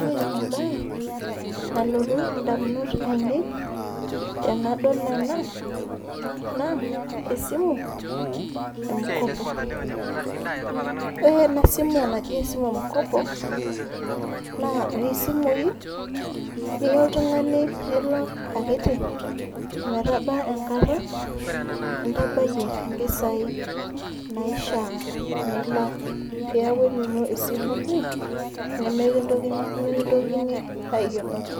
Ore ebae, nalotu indamunot ainei, tenadol ena, naa, esimu e mkopo. Ore enasimu naji esimu e mkopo, naa noshi simui, niya oltung'ani nilak akiti, ometaba enkata, nintabayie impisai naishaa nilak peeku enino esimu pi, nimikintokini aikenoki.